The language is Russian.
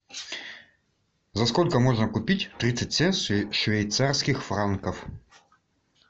за сколько можно купить тридцать шесть швейцарских франков